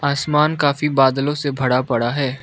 आसमान काफी बादलों से भरा पड़ा है।